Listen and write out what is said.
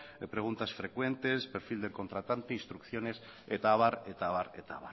preguntas frecuentes perfil del contratante instrucciones eta abar eta abar eta